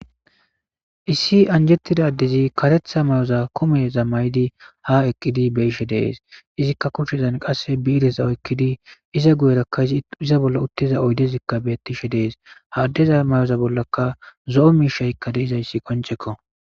Issi anjettida ddezi karetha may'oza kume za may'di ha eqqidi beishe dees izikka kushezan qasse biireza oykkidi iza guyerakka iza bolla uttiza oydezikka bettishe dees haaddeza may'oza bollaka zo'o miishaykka deizayssi qoncekko